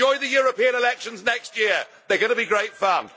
Oh, and enjoy the European elections next year, they're going to be great fun.